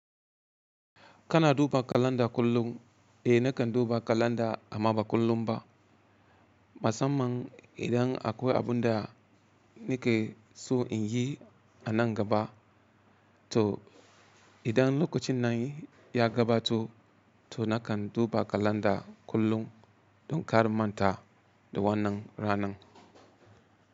Kana duba kalanda kullum? Eh nakan duba kalanda amma ba kullum ba. Musamman idan akwai abun da nike so in yi a nan gaba. To idan lokacin nan ya gabato to nakan duba kalanda kullum don kar in manta da wannan ranan.